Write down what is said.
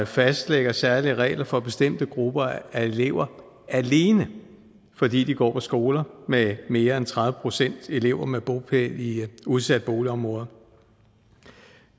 fastlægger særlige regler for bestemte grupper af elever alene fordi de går på skoler med mere end tredive procent elever med bopæl i udsatte boligområder